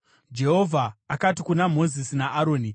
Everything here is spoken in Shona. Jehovha akati kuna Mozisi naAroni,